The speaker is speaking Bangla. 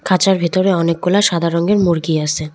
খাঁচার ভিতরে অনেকগুলো সাদা রঙ্গের মুরগি আসে।